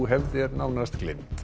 hefð er nánast gleymd